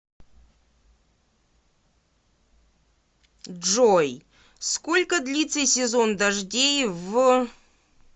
джой сколько длится сезон дождей в